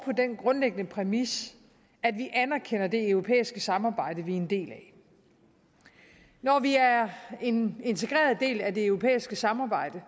den grundlæggende præmis at vi anerkender det europæiske samarbejde vi er en del af når vi er en integreret del af det europæiske samarbejde